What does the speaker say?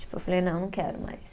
Tipo, eu falei, não, não quero mais.